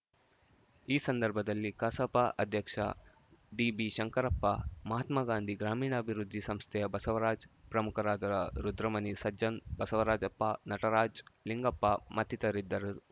ಈ ಸಂದರ್ಭದಲ್ಲಿ ಕಸಾಪ ಅಧ್ಯಕ್ಷ ಡಿ ಬಿಶಂಕರಪ್ಪ ಮಹಾತ್ಮಾಗಾಂಧಿ ಗ್ರಾಮೀಣಾಭಿವೃದ್ಧಿ ಸಂಸ್ಥೆಯ ಬಸವರಾಜ್‌ ಪ್ರಮುಖರಾದ ರ ರುದ್ರಮುನಿ ಸಜ್ಜನ್‌ ಬಸವರಾಜಪ್ಪ ನಟರಾಜ್‌ ಲಿಂಗಪ್ಪ ಮತ್ತಿತರರಿದ್ದರು